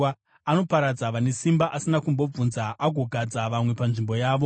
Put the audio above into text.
Anoparadza vane simba asina kumbobvunza, agogadza vamwe panzvimbo yavo.